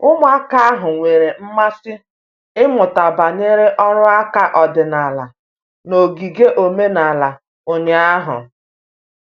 Ụmụaka ahụ nwere mmasị ịmụta banyere ọrụ aka ọdịnala n'ogige omenala ụnyahụ.